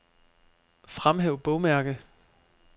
Fremhæv bogmærke.